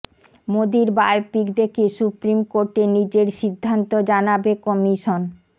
মোদির বায়োপিক দেখে সুপ্রিম কোর্টে নিজের সিদ্ধান্ত জানাবে কমিশন